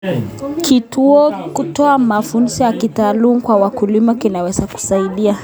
Kutoa mafunzo ya kitaalamu kwa wakulima kunaweza kusaidia.